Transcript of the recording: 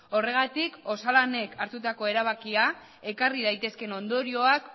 horregatik osalanek hartutako erabakia ekarri daitezken ondorioak